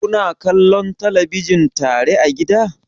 Kuna kallon talabijin tare a gida?